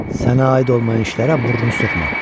Sənə aid olmayan işlərə burnu soxma.